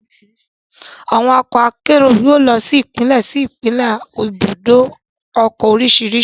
Àwọn ọkọ akérò yóò lọ sí Ìpínlẹ̀ sí Ìpínlẹ̀ láti ibùdó ọkọ̀ oríṣiríṣi